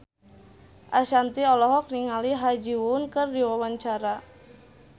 Ashanti olohok ningali Ha Ji Won keur diwawancara